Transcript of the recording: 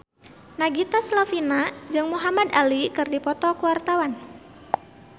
Nagita Slavina jeung Muhamad Ali keur dipoto ku wartawan